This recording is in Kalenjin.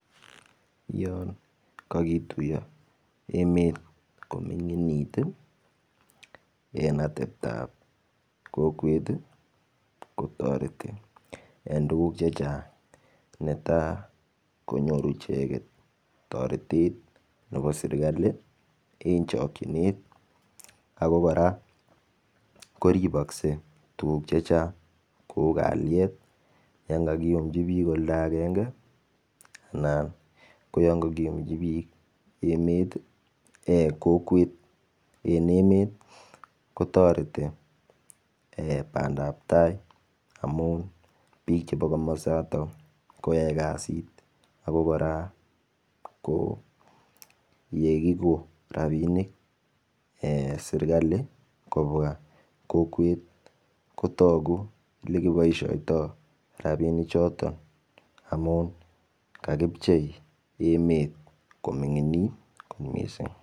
Olon ko ki tuiyo emet kominginit ii en atebtab emet kotoreti en tuguk chechang' netai ko nyoru icheget toretet en chokyinet ako kora ko ribokse tuguk chechang' kou kalyet olon kakiyumji oldo agenge Anan ko oloon ko kiyumji bik emet en kokwet ko toreti en bandap tai amun bik chebo komosta koyoe kasit ako kora yekikogon rabinik serkali kobwa kokwet kotogu Ole kiboisioto rabinichato amun kakichpei emet kominginit kot mising'.